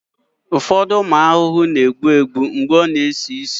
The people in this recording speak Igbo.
ụfọdụ ụmụ ahụhụ na-egbu egbu mgbe ọ na-esi ísì ma ọ bụ taa